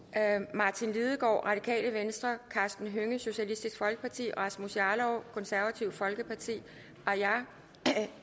martin lidegaard karsten hønge rasmus jarlov aaja